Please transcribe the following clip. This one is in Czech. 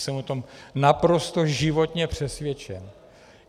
Jsem o tom naprosto životně přesvědčen.